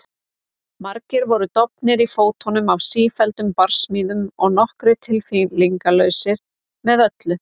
Margir voru dofnir í fótum af sífelldum barsmíðum og nokkrir tilfinningalausir með öllu.